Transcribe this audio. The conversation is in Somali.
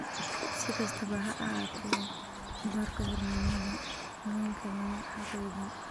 Si kastaba ha ahaatee, doorka hormoonnada haweenka lama xaqiijin.